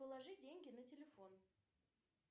положи деньги на телефон